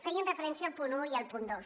feien referència al punt un i al punt dos